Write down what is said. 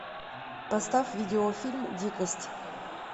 поставь видеофильм дикость